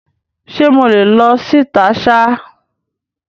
Ṣe mo le lọ síta ṣer?